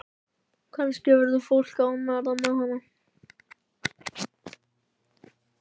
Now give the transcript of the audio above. Kannski verður fólk ánægðara með hana.